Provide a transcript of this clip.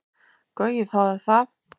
Gaui þáði það.